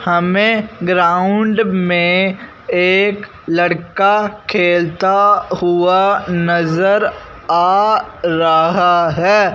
हमें ग्राउंड में एक लड़का खेलता हुआ नजर आ रहा है।